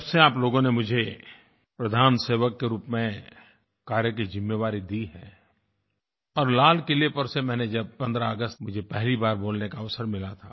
जब से आप लोगों ने मुझे प्रधान सेवक के रूप में कार्य की ज़िम्मेदारी दी है और लाल किले पर से जब पहली 15 अगस्त थी मेरी मुझे पहली बार बोलने का अवसर मिला था